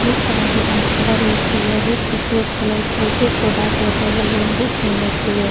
बहुत तरह के एकरा में कलर भी छैये बहुत खूबसूरत कलर छै पेड़-पौधा सब एकर अगल-बगल में बहुत सुंदर छैये।